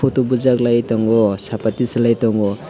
photo bujaklai tango sapatish lai tango.